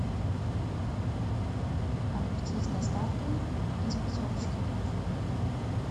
огурцы с доставкой из пятерочки